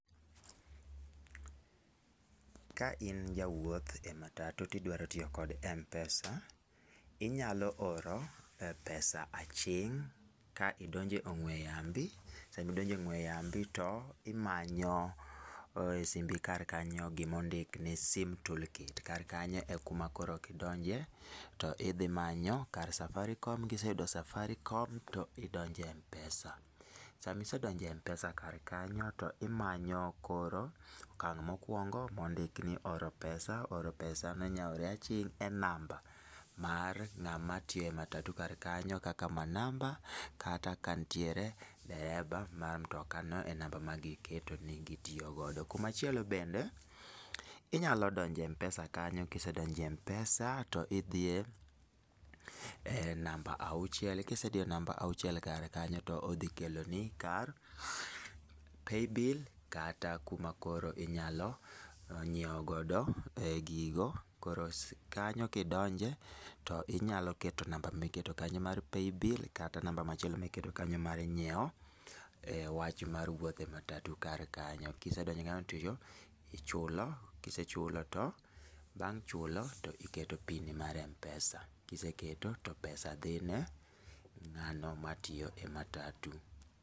Ka in jawuoth e matatu ti idwaro tiyo gi mpesa, inyalo oro pesa aching' ka idonjo e ong'we yambi ,sa mi idonjo e ong'we yambi to imanyo e simbi kar kanyo gi ma ondik ni sim tool kit kar kanyo e ku ma koro idonjo to idhi manyo kar safaricom, ki iseyudo safaricom to idonjo e mpesa. Saa ma isedonjo e mpesa kar kanyo to imanyo koro okang ma okuongo ma onduk ni oro pesa, oro pesa no inya ore aching' e namba mar ng'ama tiyo e matatu kar kanyo kaka manamba kata ka nitiere dereba mar motokano e namba ma gi keto ni itiyo godo. Kumachielo bende, inyalo donjo e mpesa kanyo ki isedonjo e mpesa to gi diye namba auchiel, ki nisediyo namba auchiel kar kanyo to dhi kelo ni kar paybill kata kuma inya ng'iewo godo gigo. Koro kanyo ki donje to inyalo keto namba mi iketo kanyo mar paybill kata namba machielo mi iketo kanyo mar ngiewo wach mar wuotdhe matatu kar kanyo.ki isedonjo kanyo ti ichulo, ki isechulo